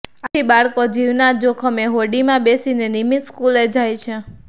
આથી બાળકો જીવના જોખમે હોડીમાં બેસીને નિયમિત સ્કૂલે જાય છે